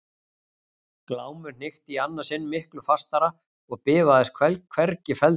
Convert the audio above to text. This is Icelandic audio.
Glámur hnykkti í annað sinn miklu fastara og bifaðist hvergi feldurinn.